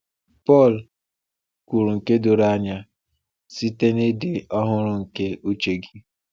“Pọl kwuru nke doro anya, ‘site n’ịdị ọhụrụ nke uche gị.’”